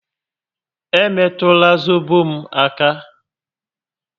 E metụla zobo m aka!